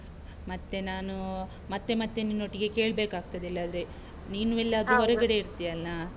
ಮತ್ತೆ ನಾನು ಮತ್ತೆ ಮತ್ತೆ ನಿನ್ನೊಟ್ಟಿಗೆ ಕೆಳ್ಬೇಕಾಗ್ತದೆ ಇಲ್ಲದ್ರೆ ಇರ್ತಿಯಲ್ವ?